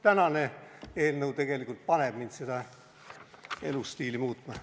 Tänane eelnõu tegelikult paneb mind seda elustiili muutma.